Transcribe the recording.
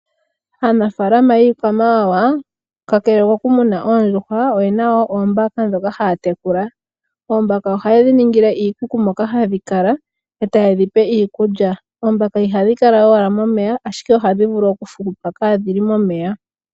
Aanafaalama yiikwamawawa kakele koku muna oondjuhwa oyena woo oombaka ndhoka haya tekula. Oombaka ohaye dhi ningile iikuku moka hadhi kala eta ye dhi pe iikulya. Oombaka ihadhi kala owala momeya ashike ohadhi vulu oku hupa kaadhili momeya.